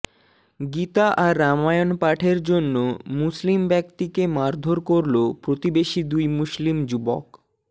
গীতা আর রামায়ণ পাঠের জন্য মুসলিম ব্যাক্তিকে মারধর করল প্রতিবেশী দুই মুসলিম যুবক